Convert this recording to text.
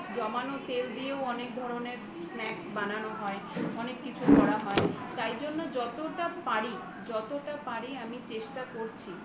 জমানো তেল দিয়েও অনেক ধরনের snacks বানানো হয় অনেক কিছু করা হয় তাই জন্য যতটা পারি যতটা পারি আমি চেষ্টা করছি